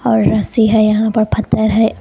और रस्सी है यहां पर पत्थर है।